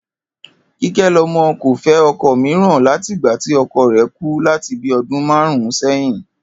Kíké̩lo̩mo̩ kò fé̩ o̩ko̩ mìíràn láti ìgba tí o̩ko̩ rè̩ kú láti bíi o̩dún márùn-ún sé̩yìn